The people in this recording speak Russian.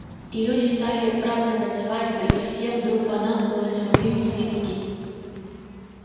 и люди стали праздновать свадьбы и всем вдруг понадобилась рувим свицкий